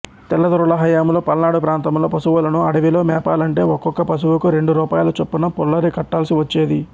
తెల్లదొరల హయాంలో పల్నాడు ప్రాంతంలో పశువులను అడవిలో మేపాలంటే ఒక్కొక్క పశువుకు రెండు రూపాయల చొప్పున పుల్లరి కట్టాల్సి వచ్చేది